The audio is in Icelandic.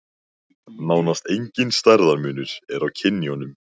Nánast enginn stærðarmunur er á kynjunum.